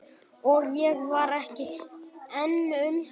Og ég var ekki ein um það.